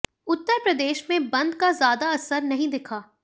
उत्तर प्रदेश में बंद का ज्यादा असर नहीं दिखा